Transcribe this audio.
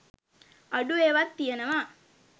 අඩු ඒවත් තියනවා